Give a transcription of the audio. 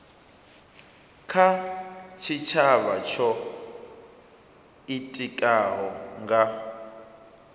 kha tshitshavha tsho itikaho nga